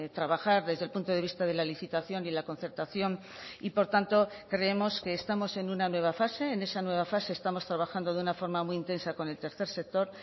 trabajar desde el punto de vista de la licitación y la concertación y por tanto creemos que estamos en una nueva fase en esa nueva fase estamos trabajando de una forma muy intensa con el tercer sector